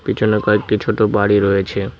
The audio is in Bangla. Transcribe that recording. পিছনে কয়েকটি ছোট বাড়ি রয়েছে।